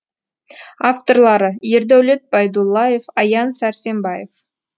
авторлары ердәулет байдуллаев аян сәрсенбаев